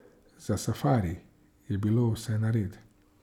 Za safari je bilo vse nared.